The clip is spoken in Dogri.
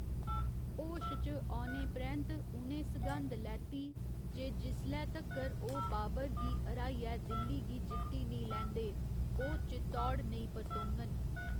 होश च औने परैंत्त उ'नें सघंद लैती जे जिसलै तक्कर ओह् बाबर गी हराइयै दिल्ली गी जित्ती निं लैंदे, ओह् चित्तौड़ नेईं परतोङन।